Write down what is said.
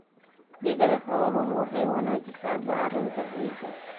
Digada xooluhu waxay wanaajisaa bacrinta ciidda.